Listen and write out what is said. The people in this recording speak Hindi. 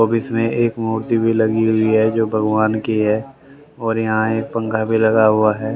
ऑफिस में एक मूर्ति भी लगी हुई है जो भगवान की है और यहां एक पंखा भी लगा हुआ है।